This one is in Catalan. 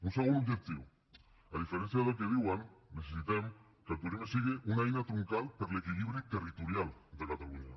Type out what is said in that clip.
un segon objectiu a diferència del que diuen necessitem que el turisme sigui una eina troncal per a l’equilibri territorial de catalunya